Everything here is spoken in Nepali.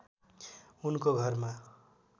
उनको घरमा